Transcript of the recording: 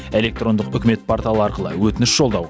электрондық үкімет порталы арқылы өтініш жолдау